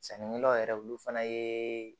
Sannikɛlaw yɛrɛ olu fana ye